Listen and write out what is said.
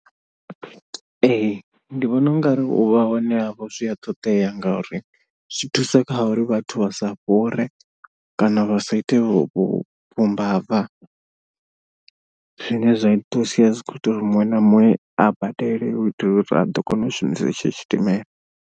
Ee ndi vhona ungari u vha hone havho zwi a ṱoḓea ngauri zwi thusa kha uri vhathu vha sa fhure kana vha sa ite u vhumbava. Zwine zwa sia zwi kho ita uri muṅwe na muṅwe a badele u itela uri a ḓo kona u shumisa etsho tshidimela.